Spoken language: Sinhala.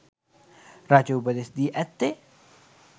රජු උපදෙස් දී ඇත්තේ